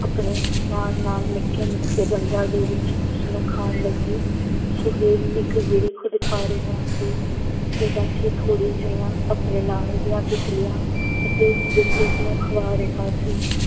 ਆਪਣੇ ਨਾਲ ਨਾਲ ਨਿੱਕੇ ਨਿੱਕੇ ਦੰਦਾਂ ਦੇ ਵਿੱਚ ਉਸ ਨੂੰ ਖਾਣ ਲੱਗੀ। ਸੁਹੇਲ ਇੱਕ ਗਿਰੀ ਖੁਦ ਖਾ ਰਿਹਾ ਸੀ ਤੇ ਬਾਕੀ ਥੋੜੀ ਜਿਹੀਆਂ ਆਪਣੇ ਨਾਲ ਦੀਆਂ ਤਿੱਤਲੀਆਂ ਅਤੇ ਗਿਰਗਿਟ ਨੂੰ ਖਵਾ ਰਿਹਾ ਸੀ।